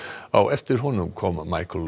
á eftir honum kom